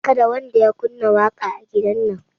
Kada wanda ya kunna waƙa a gidan nan